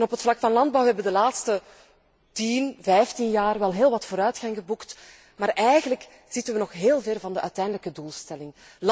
En op het vlak van landbouw hebben wij de laatste tien, vijftien jaar wel heel wat vooruitgang geboekt, maar eigenlijk zitten wij nog heel ver van de uiteindelijke doelstelling.